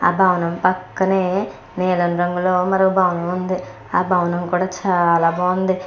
ఆ భవనం పక్కనే నీలం రంగు మరో భవనం ఉంది ఆ భవనం కూడా చాల బాగుంది.